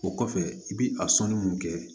O kɔfɛ i bi a sɔnni mun kɛ